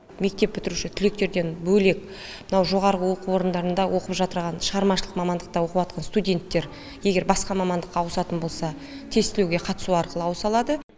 мектеп бітіруші түлектерден бөлек мынау жоғарғы оқу орындарында оқып жатырған шығармашылық мамандықта оқып атқан стунденттер егер басқа мамандыққа ауысатын болса тестілеуге қатысу арқылы ауыса алады